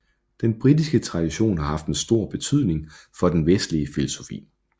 Den britiske tradition har haft en stor betydning for den vestlige filosofi